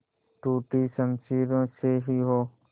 टूटी शमशीरों से ही हो